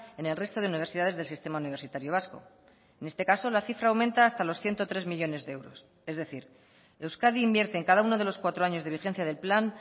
en el resto de universidades del sistema universitario vasco en este caso la cifra aumenta hasta los ciento tres millónes de euros es decir euskadi invierte en cada uno de los cuatro años de vigencia del plan